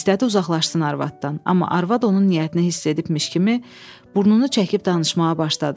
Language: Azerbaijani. İstədi uzaqlaşsın arvadından, amma arvad onun niyyətini hiss edibmiş kimi burnunu çəkib danışmağa başladı.